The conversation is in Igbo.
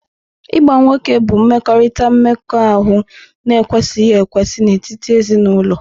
Ịgba nwoke bụ mmekọrịta mmekọahụ na-ekwesịghị ekwesị n'etiti ezinụlọ.